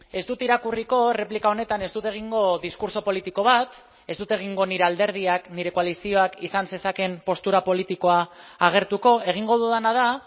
ez dut irakurriko erreplika honetan ez dut egingo diskurtso politiko bat ez dut egingo nire alderdiak nire koalizioak izan zezakeen postura politikoa agertuko egingo dudana da